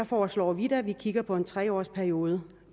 foreslår vi at vi kigger på en tre års periode